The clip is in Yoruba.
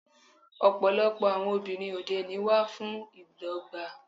Ọ̀pọ̀lọpọ̀ àwọn obìnrin òde òní wà fún ìdọ́gba.